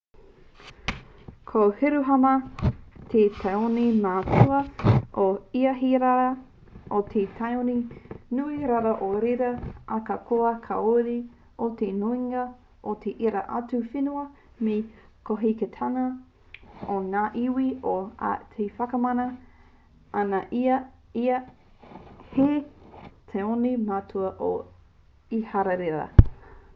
ko hiruharama te tāone matua o iharaira me te tāone nui rawa o reira ahakoa kāore te nuinga o ērā atu whenua me te kotahitanga o ngā iwi o te ao e whakamana ana i a ia hei tāone matua o iharaira